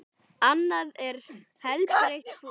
Annað er helbert fúsk.